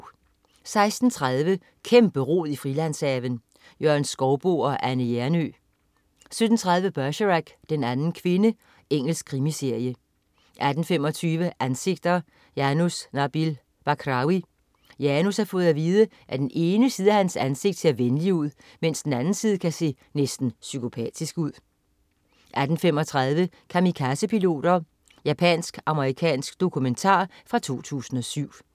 16.30 Kæmperod i Frilandshaven. Jørgen Skouboe og Anne Hjernøe 17.30 Bergerac: Den anden kvinde. Engelsk krimiserie 18.25 Ansigter: Janus Nabil Bakrawi. Janus har fået at vide, at den ene side af hans ansigt ser venligt ud, mens den anden side kan se næsten psykopatisk ud 18.35 Kamikazepiloter. Japansk-amerikansk dokumentar fra 2007